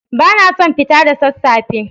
Ba na son fita da sassafe.